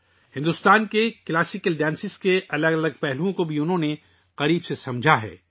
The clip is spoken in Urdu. انہوں نے بھارت کے کلاسیکی رقص کے مختلف پہلوؤں کو بھی قریب سے سمجھا ہے